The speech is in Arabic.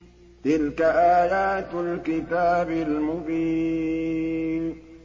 تِلْكَ آيَاتُ الْكِتَابِ الْمُبِينِ